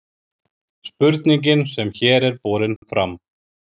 spurningin sem hér er borin fram